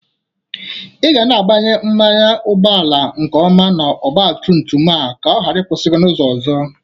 Ị ga na-agbanye mmanụ ụgbọala nke ọma n'ọgbatumtum a ka ọ ghara ikwusi gi n'ụzọ ọzọ